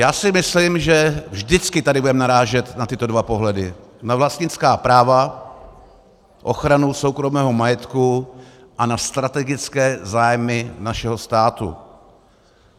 Já si myslím, že vždycky tady budeme narážet na tyto dva pohledy - na vlastnická práva, ochranu soukromého majetku a na strategické zájmy našeho státu.